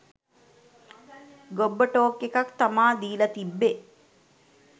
ගොබ්බ talk එකක් තමා දීලා තිබ්බේ